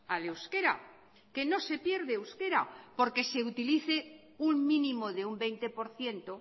al euskera que no se pierde euskera porque se utilice un mínimo de un veinte por ciento